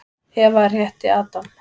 Eva rétti Adam.